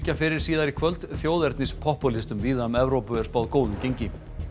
fyrir síðar í kvöld þjóðernispopúlistum víða um Evrópu er spáð góðu gengi